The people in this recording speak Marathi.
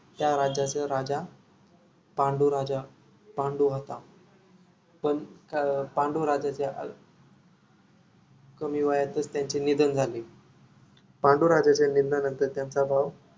त्या राज्याचा राजा पांडू राजा पांडू होता पण अं पांडुराज्याचे अल्प अं कमी वयातच त्यांचे निधन झाले पांडू राज्याच्या निधनानंतर त्यांचा भाऊ